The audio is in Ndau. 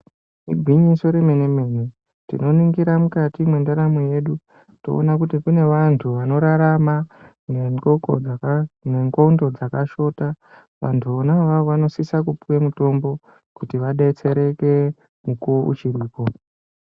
Igwinyiso remene mene tinoningira mukati mendaramo yedu toona kuti kune vantu vanorarama nengonxo dzakashota vantu vona avavo vanosisa kupuwa mutombo kuti vadetsereke mukuwo uchiripo.